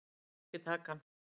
Ég myndi ekki taka hann.